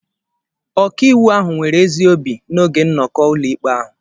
Ọkàiwu ahụ nwere ezi obi n’oge nnọkọ ụlọikpe ahụ.